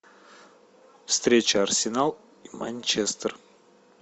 встреча арсенал и манчестер